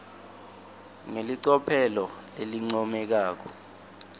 ngelicophelo lelincomekako